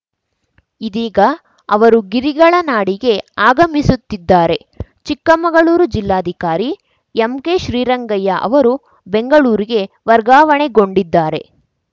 ಇದೀಗ ಅವರು ಗಿರಿಗಳ ನಾಡಿಗೆ ಆಗಮಿಸುತ್ತಿದ್ದಾರೆ ಚಿಕ್ಕಮಗಳೂರು ಜಿಲ್ಲಾಧಿಕಾರಿ ಎಂಕೆ ಶ್ರೀರಂಗಯ್ಯ ಅವರು ಬೆಂಗಳೂರಿಗೆ ವರ್ಗಾವಣೆಗೊಂಡಿದ್ದಾರೆ